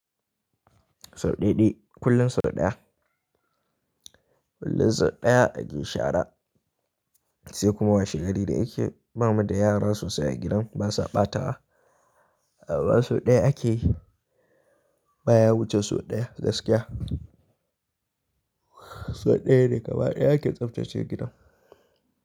Sau ɗaiɗai, kullum so ɗaya. Kullum so ɗaya ake shara sai kuma washegari da yake ba mu da yara sosai a gidan basa ɓatawa. Ba so ɗaya ake yi ba, ya wuce so ɗaya gaskiya. So ɗaya ne gaba ɗaya ake tsaftace gidan.